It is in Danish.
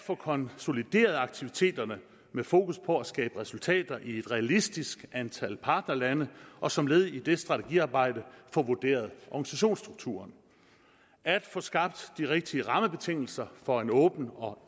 at få konsolideret aktiviteterne med fokus på at skabe resultater i et realistisk antal partnerlande og som led i det strategiarbejde at få vurderet organisationsstrukturen at få skabt de rigtige rammebetingelser for en åben og